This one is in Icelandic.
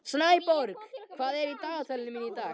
Snæborg, hvað er í dagatalinu mínu í dag?